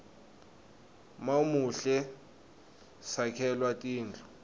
mawumuhle sakhelwa tindlu